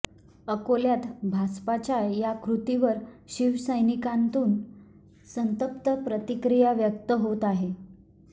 अकोल्यात भाजपाच्या या क्रूतीवर शिवसैनिकांतून संतप्त प्रतिक्रिया व्यक्त होत आहे